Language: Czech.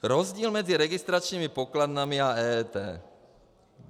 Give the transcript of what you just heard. Rozdíl mezi registračními pokladnami a EET.